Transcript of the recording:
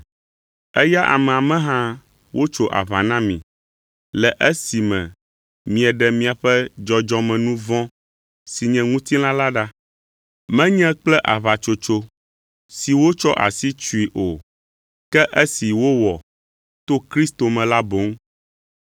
Eya amea me hã wotso aʋa na mi, le esime mieɖe miaƒe dzɔdzɔmenu vɔ̃ si nye ŋutilã la ɖa, menye kple aʋatsotso si wotsɔ asi tsoe o, ke esi wowɔ to Kristo me la boŋ.